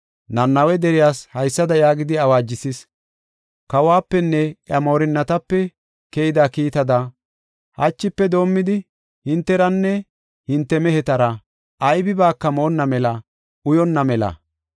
Nanawe deriyas haysada yaagidi awaajisis: “kawapenne iya moorinatape keyida kiittada hachife doomidi hinteranne hinte mehetara, aybibaaka moonna mela uyonna mela.